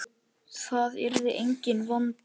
Það yrði enginn vandi.